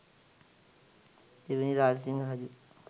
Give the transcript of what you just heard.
දෙවැනි රාජසිංහ රජු